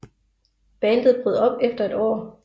Bandet brød op efter et år